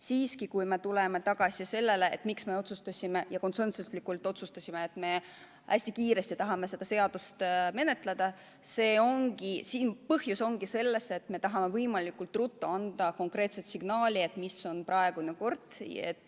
Siiski, kui me tuleme tagasi selle juurde, miks me otsustasime konsensuslikult, et me hästi kiiresti tahame seda seaduseelnõu menetleda, siis põhjus ongi selles, et me tahame anda võimalikult konkreetse signaali, milline on praegune kord.